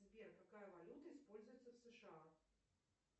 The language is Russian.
сбер какая валюта используется в сша